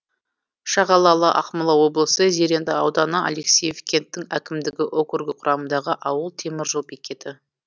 шағалалы ақмола облысы зеренді ауданы алексеев кенттік әкімдігі округі құрамындағы ауыл темір жол бекеті